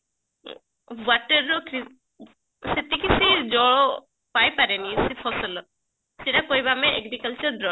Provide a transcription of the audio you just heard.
water ର ସେତିକି ସିଏ ଜଳ ପାଇ ପରେନି ସେ ଫସଲ ସେଟା କହିବା ଆମେ agricultural brought